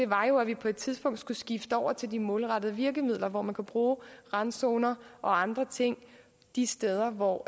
var jo at vi på et tidspunkt skulle skifte over til de målrettede virkemidler hvor man kan bruge randzoner og andre ting de steder hvor